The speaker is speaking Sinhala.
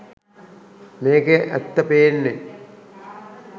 මේකෙ ඇත්ත පේන්නෙ